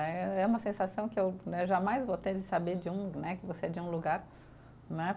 Eh, é uma sensação que eu né, jamais vou ter de saber de um né, que você é de um lugar né.